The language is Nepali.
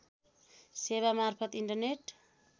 सेवा मार्फत इन्टरनेट